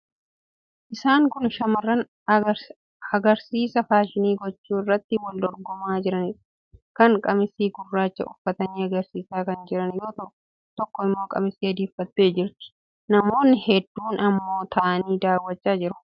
Isaan kun shamarran agariisa faashinii gochuu irratti wal dorgomaa jiraniidha. Kaan qamisii gurraacha uffatanii agarsiisaa kan jiran yoo ta'u, tokko immoo qamisii adii uffattee jirti. Namoonni hedduun immoo taa'anii daawwachaa jiru.